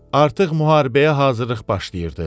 Artıq müharibəyə hazırlıq başlayırdı.